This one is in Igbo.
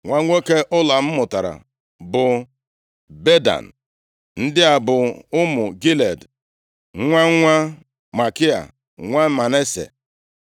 Nwa nwoke Ụlam mụtara bụ Bedan. Ndị a bụ ụmụ Gilead, nwa nwa Makia, nwa Manase.